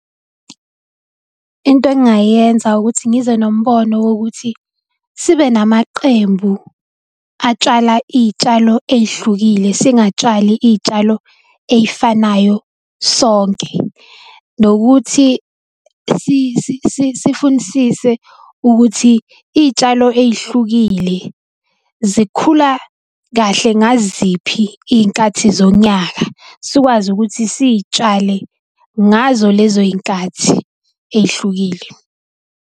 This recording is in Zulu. Into engingayenza ukuthi ngize nombono wokuthi sibe namaqembu atshala iy'tshalo ey'hlukile, singatshali iy'tshalo eyifanayo sonke. Nokuthi sifunisise ukuthi iy'tshalo ey'hlukile zikhula kahle ngaziphi iy'nkathi zonyaka, sikwazi ukuthi siy'tshale ngazo lezo y'nkathi ey'hlukile.